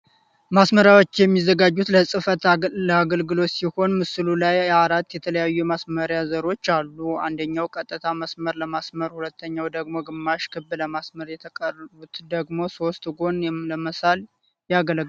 ማስመርያዎች የሚዘጋጁት ለህፈት ለአገልግሎት ሲሆን ምስሉ ላይ አራት የተለያዩ የማስመርያ ዘሮች አሉ። አንደኛው ቀጥታ መስመር ለማስመር ፤ሁለተኛው ደግሞ ግማሽ ክብ ለመሳል ፤የተቀሩት ደግሞ ሦስት ጎን ለመሳል ያገለግላሉ።